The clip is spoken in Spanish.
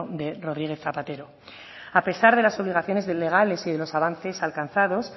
de rodríguez zapatero a pesar de las obligaciones legales y de los avances alcanzados